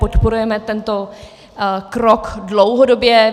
Podporujeme tento krok dlouhodobě.